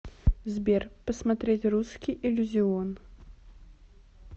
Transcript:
сбер посмотреть русский иллюзион